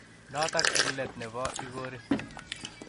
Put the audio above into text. notok eng let ne bo igori